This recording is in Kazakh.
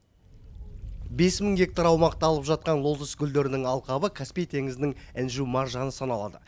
бес мың гектар аумақты алып жатқан лотос гүлдерінің алқабы каспий теңізінің інжу маржаны саналады